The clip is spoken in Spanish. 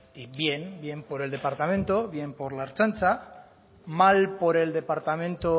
y bien bien por el departamento bien por la ertzaintza mal por el departamento